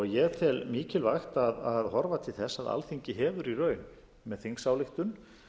ég tel mikilvægi að horfa til þess að alþingi hefur í raun með þingsályktun